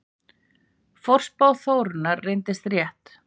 Forspá Þórunnar reyndist rétt.